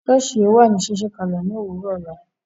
Soosi ó wà ní ṣíṣí kalẹ ni òwúrò ọ̀la